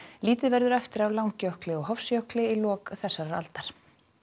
lítið verður eftir af Langjökli og Hofsjökli í lok þessarar aldar